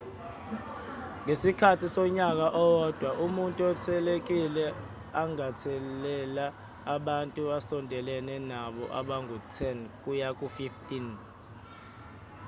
ngesikhathi sonyaka owodwa umuntu othelelekile angathelela abantu asondelene nabo abangu-10 kuya ku-15